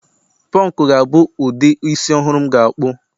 punk ga-abụ ụdị isi ọhụrụ m ga-akpụ